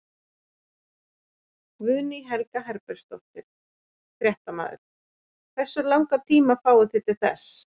Guðný Helga Herbertsdóttir, fréttamaður: Hversu langan tíma fáið þið til þess?